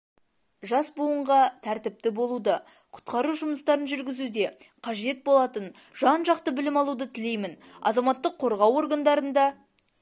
жас буынға тәртіпті болуды құтқару жұмыстарын жүргізуде қажет болатын жан-жақты білім алуды тілеймін азаматтық қорғау органдарында